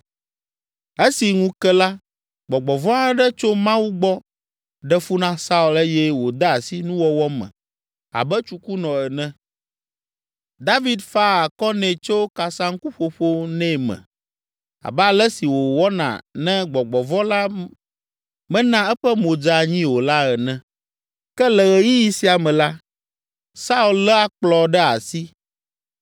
Esi ŋu ke la, gbɔgbɔ vɔ̃ aɖe tso Mawu gbɔ ɖe fu na Saul eye wòde asi nuwɔwɔ me abe tsukunɔ ene. David faa akɔ nɛ to kasaŋkuƒoƒo nɛ me, abe ale si wòwɔna ne gbɔgbɔ vɔ̃ la mena eƒe mo dze anyi o la ene. Ke, le ɣeyiɣi sia me la, Saul lé akplɔ ɖe asi.